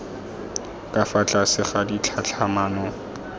ka fa tlase ga ditlhatlhamano